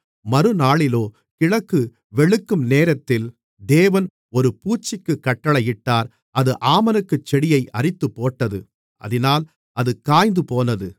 மறுநாளிலோ கிழக்கு வெளுக்கும் நேரத்தில் தேவன் ஒரு பூச்சிக்குக் கட்டளையிட்டார் அது ஆமணக்குச் செடியை அரித்துப்போட்டது அதினால் அது காய்ந்துபோனது